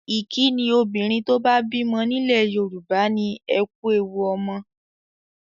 Ìkínni obìnrin tó bá bímọ nílẹ̀ Yorùbá ni 'Ẹ kú ewu ọmọ'.